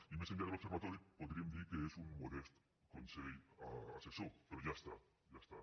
i més enllà de l’observatori podríem dir que és un modest consell assessor però ja està ja està